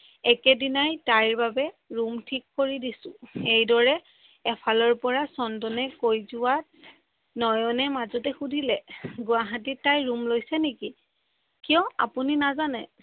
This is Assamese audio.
একে দিনাই তাই বাবে ৰুম থিক কৰি দিছো। এইদৰে এফালৰ পৰা চন্দনে কৈ যোৱাত নয়নে মাজতে সোধিলে গুৱাহাটীত তাই ৰুম লৈছে নিকি কিয় আপোনি নাজানে